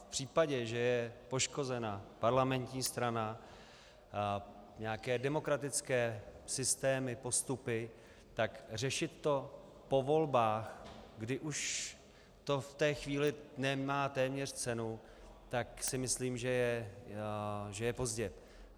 V případě, že je poškozena parlamentní strana, nějaké demokratické systémy, postupy, tak řešit to po volbách, kdy už to v té chvíli nemá téměř cenu, tak si myslím, že je pozdě.